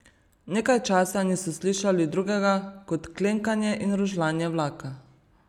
Nekaj časa niso slišali drugega kot klenkanje in rožljanje vlaka.